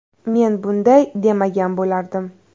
Men bunday demagan bo‘lardim.